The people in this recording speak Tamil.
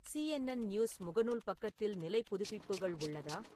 சி.என்.என் நியூஸ் முகநூல் பக்கத்தில் நிலை புதுப்பிப்புகள் உள்ளதா